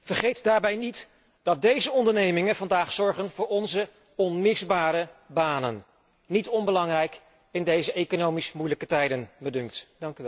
Vergeet daarbij niet dat deze ondernemingen vandaag zorgen voor onze onmisbare banen niet onbelangrijk in deze economisch moeilijke tijden, dunkt me.